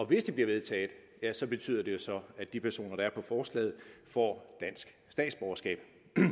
hvis det bliver vedtaget betyder det jo så at de personer der er på forslaget får dansk statsborgerskab